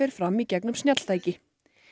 fram í gegnum snjalltæki